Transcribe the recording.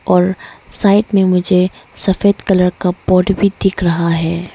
और साइड में मुझे सफेद कलर का पॉड भी दिख रहा है।